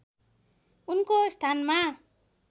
उनको स्थानमा